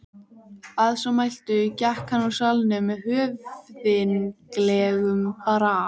Að svo mæltu gekk hann úr salnum með höfðinglegum brag.